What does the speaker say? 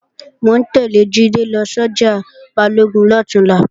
Mò ń tẹ́lẹ̀ Jídé lọ sọ́jà Balógun lọ̀túnla